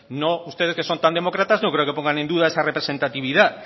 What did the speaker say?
ustedes que son tan demócratas no creo que pongan en duda esa representatividad